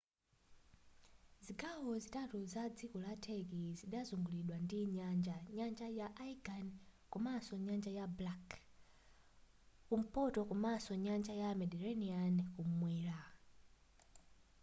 zigawo zitatu za dziko la turkey zidazunguliridwa ndi nyanja nyanja ya aegean kumadzulo nyanja ya black kumpoto komanso nyanja ya mediterranean kumwera